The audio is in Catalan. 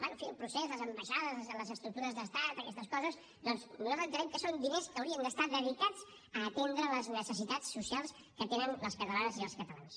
bé en fi al procés les ambaixades les estructures d’estat a aquestes coses doncs nosaltres entenem que són diners que haurien d’estar dedicats a atendre les necessitats socials que tenen les catalanes i els catalans